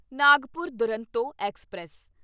Nagpur Duronto express